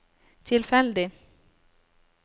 tilfeldig